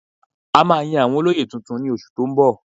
A máa yan àwọn olóyè tuntun ní oṣù tó ń bọ̀